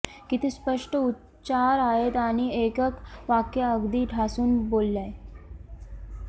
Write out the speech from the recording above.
किती स्पष्ट उच्चार आहेत आणि एकेक वाक्य अगदी ठासून बोललाय